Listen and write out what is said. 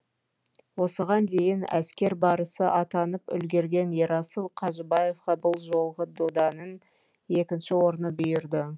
осыған дейін әскер барысы атанып үлгерген ерасыл қажыбаевқа бұл жолғы доданың екінші орны бұйырды